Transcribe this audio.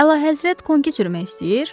Əlahəzrət konki sürmək istəyir?